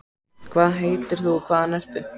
hvað heitir þú og hvaðan ertu?